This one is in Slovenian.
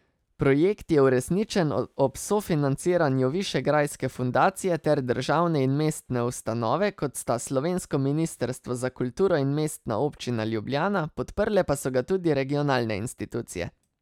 Projekt je uresničen ob sofinanciraju Višegrajske Fundacije ter državne in mestne ustanove, kot sta slovensko ministrstvo za kulturo in Mestna občina Ljubljana, podprle pa so ga tudi regionalne institucije.